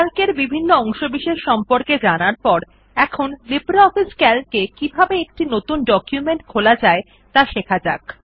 CALC বিভিন্ন অংশবিশেষের সম্পর্কে জানার পর এখন লিব্রিঅফিস সিএএলসি এ কিভাবে একটি নতুন ডকুমেন্ট খোলা যায় ত়া শিখতে হবে